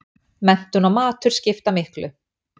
Menntun og matur skipta miklu